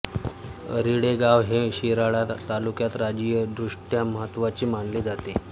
रिळे गाव हे शिराळा तालुक्यात राजकीयदृष्टया महत्त्वाचे मानले जाते